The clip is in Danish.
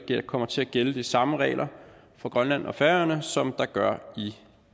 der kommer til at gælde de samme regler for grønland og færøerne som der gør i